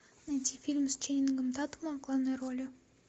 найти фильм с ченнингом татумом в главной роли